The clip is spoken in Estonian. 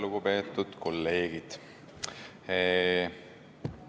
Lugupeetud kolleegid!